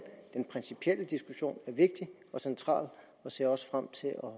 den principielle diskussion er vigtig og central og ser også frem til at